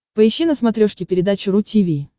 поищи на смотрешке передачу ру ти ви